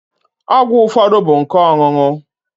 Ọgwụ ụfọdụ bụ nke ọṅụṅụ.